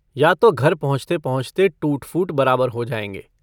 या तो घर पहुँचते-पहुंँचते टूट-फूट बराबर हो जाएंगे।